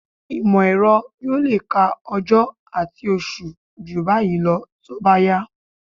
Ìmọ̀-ẹ̀rọ yóò lè ka ọjọ́ àti oṣù jù báyìí lọ tó bá yá